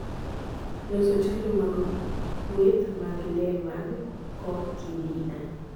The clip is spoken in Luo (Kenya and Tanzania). Loso chanjo mag kweth mag le mag coccidia